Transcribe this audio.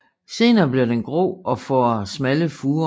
Senere bliver den grå og får smalle furer